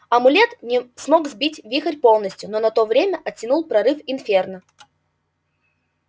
амулет не мог сбить вихрь полностью но на то время оттянул прорыв инферно